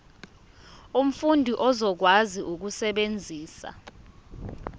umfundi uzokwazi ukusebenzisa